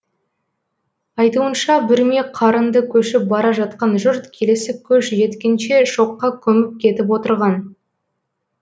айтуынша бүрме қарынды көшіп бара жатқан жұрт келесі көш жеткенше шоққа көміп кетіп отырған